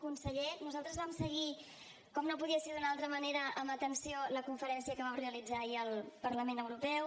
conseller nosaltres vam seguir com no podia ser d’una altra manera amb atenció la conferència que vau realitzar ahir al parlament europeu